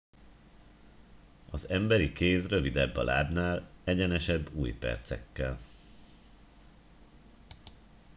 az emberi kéz rövidebb a lábnál egyenesebb ujjpercekkel